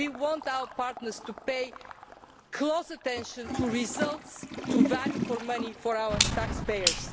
We want our partners to pay close attention to results and to value for money for our taxpayers.